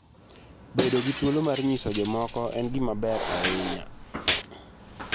"Bedo gi thuolo mar nyiso jomoko en gima ber ahinya.